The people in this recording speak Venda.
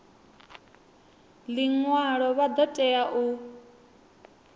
ḽiṅwalo vha ḓo tea u